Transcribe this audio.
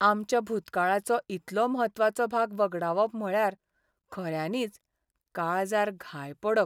आमच्या भुतकाळाचो इतलो म्हत्वाचो भाग वगडावप म्हळ्यार खऱ्यांनीच काळजार घाय पडप.